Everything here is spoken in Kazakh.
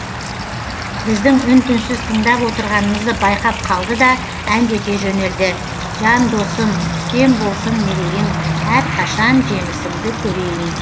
біздің үн түнсіз тыңдап отырғанымызды байқап қалды да әндете жөнелді жан досым үстем болсын мерейің әрқашан жеңісіңді көрейін